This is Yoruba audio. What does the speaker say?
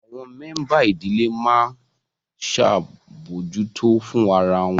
Àwọn mẹ́ńbà ìdílé máa ń ṣabojuto fún ara wọn